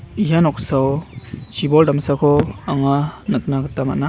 ia noksao chibol damsako anga nikna gita man·a.